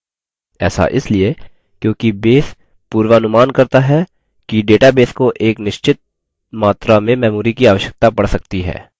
ऐसा इसलिए क्योंकि base पूर्वानुमान करता है कि database को एक निश्चित मात्रा में memory की आवश्यकता पड़ सकती है